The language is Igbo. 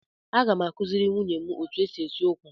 Aga m akụziri nwunye otu esi esi ụkwa.